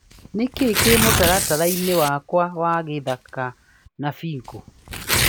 Nĩkĩĩ kĩ mũtaratara-ini wakwa wa gũthaka wa bũngo.